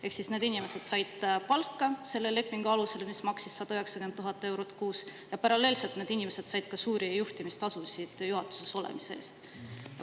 Ehk siis need inimesed said palka selle lepingu alusel, mis maksis 190 000 eurot kuus, ja paralleelselt need inimesed said ka suuri juhtimistasusid juhatuses olemise eest.